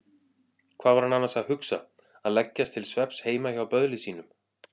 Hvað var hann annars að hugsa að leggjast til svefns heima hjá böðli sínum?